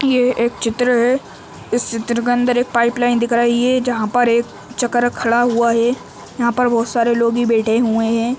ये एक चित्र है। इस चित्र के अंदर एक पाइप लाइन दिख रही है जहाँ पर एक चक्र खड़ा हुआ है। यहां पर बहोत सारे लोग ही बैठे हुए हैं।